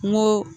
N ko